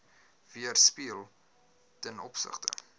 weerspieël ten opsigte